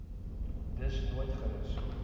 dus nooit gerus